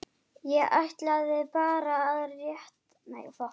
ég ætlaði bara rétt aðeins.